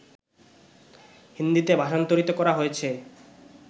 হিন্দীতে ভাষান্তরিত করা হয়েছে